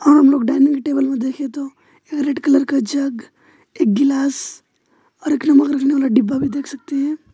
आप लोग dining table में देखे तो एक रेड कलर का जग एक गिलास और एक नमक रखने वाला डिब्बा भी देख सकते हैं।